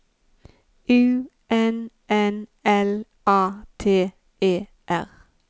U N N L A T E R